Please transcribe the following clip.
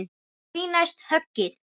Því næst höggið.